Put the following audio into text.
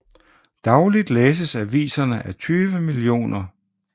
Dagligt læses aviserne af 20 mio